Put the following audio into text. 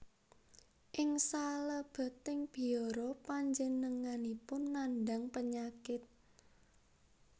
Ing salebeting biara panjenenganipun nandhang penyakit